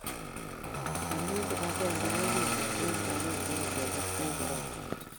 amu kibagenge ko kimnatet , eng' kibagenge ongekerten korona